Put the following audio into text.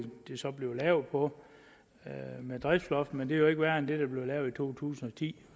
det så bliver gjort på med driftsloft men jo ikke værre end det der blev lavet i to tusind og ti